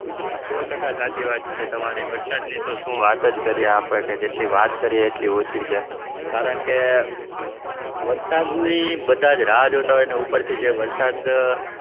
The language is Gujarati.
સો ટકા સાચી વાત છે તમારી વરસાદની તો શું વાત જ કરીએ આપણે કે જેટલી વાત કરીએ એટલી ઓછી છે, કારણકે વરસાદની બધા રાહ જોતા હોય અને ઉપરથી જે વરસાદ